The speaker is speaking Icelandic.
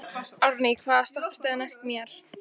Árný, hvaða stoppistöð er næst mér?